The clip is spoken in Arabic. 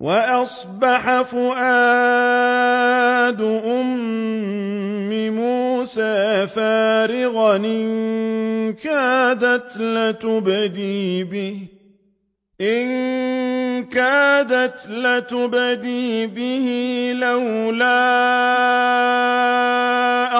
وَأَصْبَحَ فُؤَادُ أُمِّ مُوسَىٰ فَارِغًا ۖ إِن كَادَتْ لَتُبْدِي بِهِ لَوْلَا